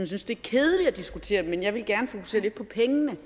synes det er kedeligt at diskutere men jeg vil gerne fokusere lidt på pengene